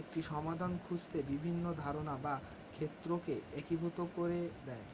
একটি সমাধান খুঁজতে বিভিন্ন ধারণা বা ক্ষেত্রকে একীভূত করে দেয়